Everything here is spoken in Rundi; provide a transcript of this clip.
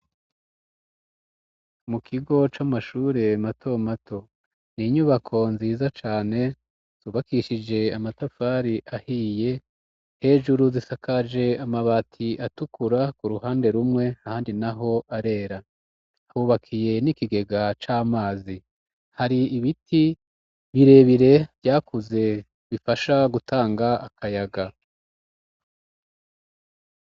Mu kigo c'amashure mato mato. Ni inyubako nziza cane zubakishije amatafari ahiye. Hejuru zisakaje amabati atukura ku ruhande rumwe, ahandi naho arera. Hubakiye n'ikigega c'amazi. Hari ibiti birebire vyakuze bifasha gutanga akayaga.